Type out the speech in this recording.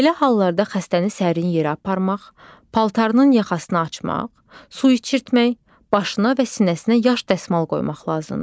Belə hallarda xəstəni sərin yerə aparmaq, paltarının yaxasını açmaq, su içirtmək, başına və sinəsinə yaş dəsmal qoymaq lazımdır.